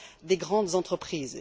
des grandes entreprises